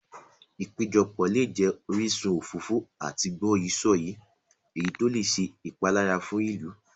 Ìpéjọpọ̀ lè jẹ orísun òfófó àti gbọ́yìí-sọ̀yìí, èyí tó lè ṣe ìpalára fún ìlú.